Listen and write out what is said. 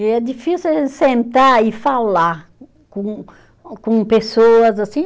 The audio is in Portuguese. E é difícil a gente sentar e falar com com pessoas assim.